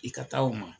I ka taa o ma